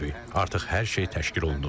Artıq hər şey təşkil olunub.